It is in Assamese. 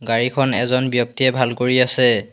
গাড়ীখন এজন ব্যক্তিয়ে ভাল কৰি আছে।